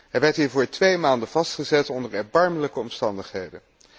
Hij werd hiervoor twee maanden vastgezet onder erbarmelijke omstandigheden.